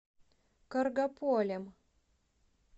каргополем